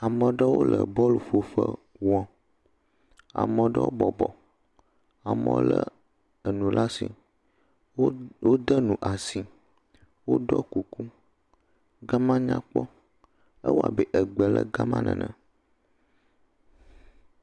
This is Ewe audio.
Ame aɖewo le bɔl ƒoƒe wɔm. Ame aɖewo bɔbɔ, amewo le enu ɖe asi. Wo wode nu asi, woɖɔ kuku. Ga ma nyakpɔ ewɔ abe egbe le ga ma nene.